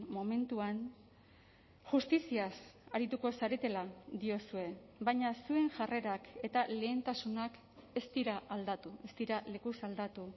momentuan justiziaz arituko zaretela diozue baina zuen jarrerak eta lehentasunak ez dira aldatu ez dira lekuz aldatu